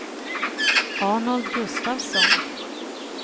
Arnold Gustafsson